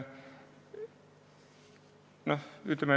Aitäh!